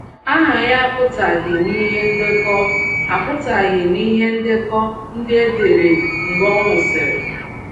Aha ya apụtaghị n’ihe ndekọ apụtaghị n’ihe ndekọ ndị e dere mgbe ọ nwụsịrị. ”